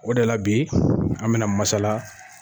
O de la bi an mina masala